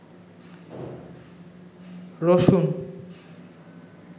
রসুন